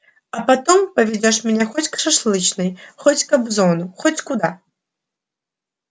а потом поведёшь меня хоть к шашлычной хоть к кобзону хоть куда